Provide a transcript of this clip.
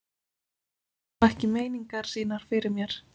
Menn fela nú ekki meiningar sínar fyrir mér.